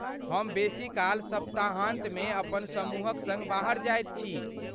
हम बेसीकाल सप्ताहान्तमे अपन समूहक सङ्ग बाहर जाइत छी।